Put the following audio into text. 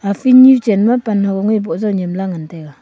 a field nyu chenma pan ho ngoi boh jaw nyemla ngan taiga.